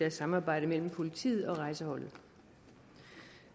et samarbejde mellem politiet og rejseholdet